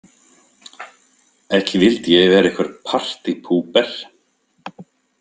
Ekki vildi ég vera einhver partípúper.